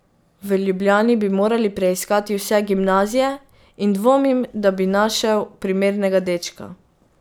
V Ljubljani bi moral preiskati vse gimnazije in dvomim, da bi našel primernega dečka.